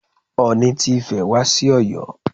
Ooni ti Ifẹ̀ wá sí Ọ̀yọ́.